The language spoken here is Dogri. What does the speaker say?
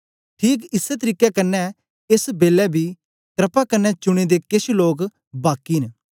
ठीक इसै तरीके कन्ने एस बेलै बी क्रपा कन्ने चुने दे केछ लोक बाकी न